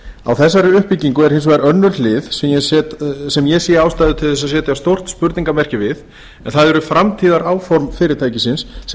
á þessari uppbyggingu er hins vegar önnur hlið sem ég sé ástæðu til að setja stórt spurningarmerki við en það eru framtíðaráform fyrirtækisins sem